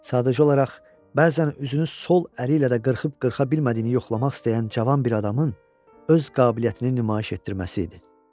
Sadəcə olaraq bəzən üzünü sol əli ilə də qırxıb-qırxa bilmədiyini yoxlamaq istəyən cavan bir adamın öz qabiliyyətini nümayiş etdirməsidir.